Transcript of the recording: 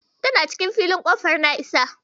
Tana cikin filin Ƙofar Na'isa.